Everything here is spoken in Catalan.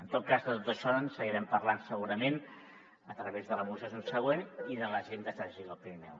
en tot cas de tot això en seguirem parlant segurament a través de la moció subsegüent i de l’agenda estratègica del pirineu